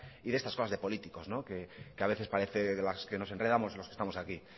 y de estas cosas de políticos que a veces parece de las que nos enredamos los que estamos aquí